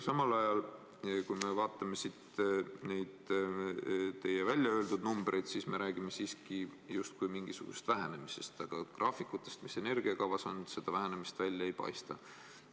Samal ajal, kui me vaatame neid teie öeldud numbreid, siis me räägime justkui mingisugusest vähenemisest, aga graafikutest, mis energiakavas on, seda vähenemist välja ei paista.